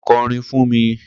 Ko̩rin fún mi!